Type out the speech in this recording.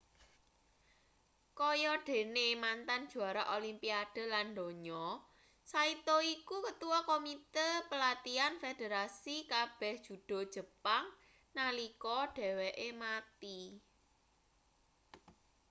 kaya dene mantan juara olimpiade lan donya saito iku ketua komite pelatihan federasi kabeh judo jepang nalika dheweke mati